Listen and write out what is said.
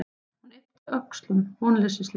Hún yppti öxlum vonleysislega.